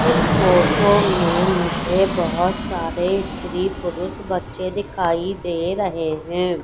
इस फोटो में मुझे बहोत सारे स्त्री पुरुष बच्चे दिखाई दे रहे हैं।